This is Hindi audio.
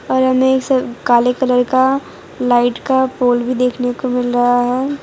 और हमें एक काले कलर का लाइट का पोल भी देखने को मिल रहा है।